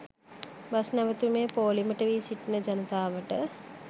bus නැවැතුමේ පෝලිමට වී සිටින ජනතාවට